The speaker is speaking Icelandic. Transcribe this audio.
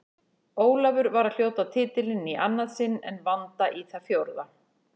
Ólafur var að hljóta titilinn í annað sinn en Vanda í það fjórða.